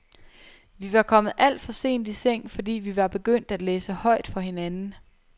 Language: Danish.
Vi var kommet alt for sent i seng, fordi vi var begyndt at læse højt for hinanden.